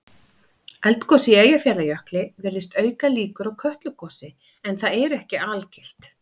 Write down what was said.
Eldgos í Eyjafjallajökli virðist auka líkur á Kötlugosi en það er ekki algilt.